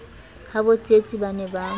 habo tsietsi ba ne ba